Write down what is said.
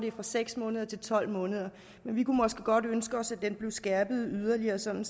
er fra seks måneder til tolv måneder men vi kunne måske godt ønske os at den blev skærpet yderligere sådan